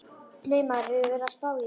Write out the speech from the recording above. Nei, maður hefur verið að spá í það.